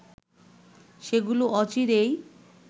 সেগুলো অচিরেই